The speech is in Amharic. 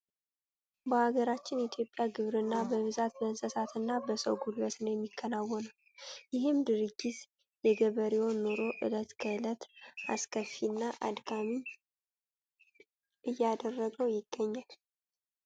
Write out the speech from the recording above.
በሀገራችን ኢትዮጵያ ግብርና በብዛት በእንስሳት እና በሰው ጉልበት ነው የሚከወነው። ይህም ድርጊት የገበሬውን ኑሮ እለት ከእለት አሰከፊ እና አድካሚ እያደረገው ይገኛል።